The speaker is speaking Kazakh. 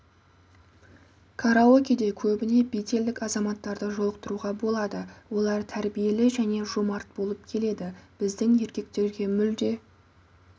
караокеде көбіне беделді шетелдік азаматтарды жолықтыруға болады олар тәрбиелі және жомарт болып келеді біздің еркектерге мүлде